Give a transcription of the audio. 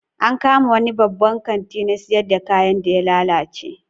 An kama wani babban kanti na siyar da kayan da ya lalace